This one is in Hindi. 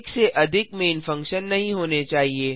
एक से अधिक मैन फंक्शन नहीं होने चाहिए